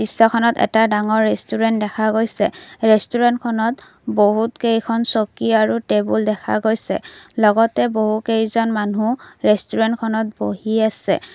দৃশ্যখনত এটা ডাঙৰ ৰেষ্টোৰেন দেখা গৈছে ৰেষ্টোৰেনখনত বহুত কেইখন চকী আৰু টেবুল দেখা গৈছে লগতে বহুকেইজন মানুহ ৰেষ্টোৰেনখনত বহি আছে।